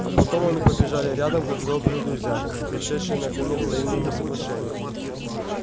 а потом они побежали рядом как добрые друзья пришедшие наконец к взаимному соглашению